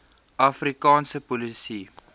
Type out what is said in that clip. afri kaanse polisie